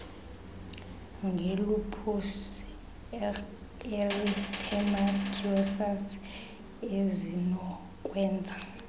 ngelupus erythematosus ezinokwenza